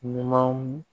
Ɲumanw